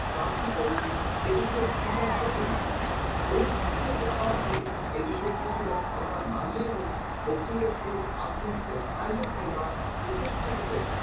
কারকে পদবি এ বিষয়ে ভুলভাল পদবী অনুষ্ঠানে যাবার আগে এই বিষয়ে কিছুটা ধারণা না নিয়ে এবং বক্তৃতা শুরুর আগে মুহূর্তে আজও কিংবা উপস্থাপকের